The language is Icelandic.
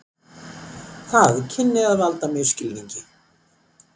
Það kynni að valda misskilningi.